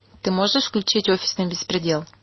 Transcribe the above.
ты можешь включить офисный беспредел